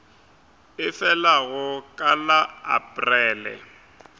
e felago ka la aprele